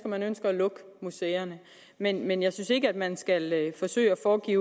at man ønsker at lukke museerne men men jeg synes ikke at man skal forsøge at foregive